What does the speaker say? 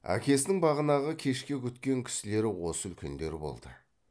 әкесінің бағанағы кешке күткен кісілері осы үлкендер болды